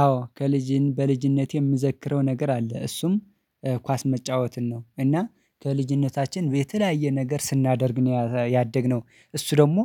አዎ ከልጅን በልጅነቴ የምዘክረው ነገር አለ እሱም ኳስ መጫወትን ነው። እና ከልጅነታችን የተለያየ ነገር ስናደርግ ነው ያደግነው እሱ ደግሞ